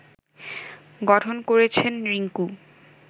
গঠন করেছেন রিংকু